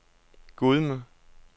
Gudme